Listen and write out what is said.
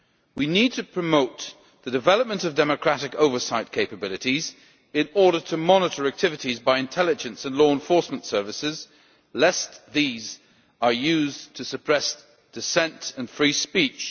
We need to promote the development of democratic oversight capabilities in order to monitor activities by intelligence and law enforcement services, lest these are used to suppress dissent and free speech.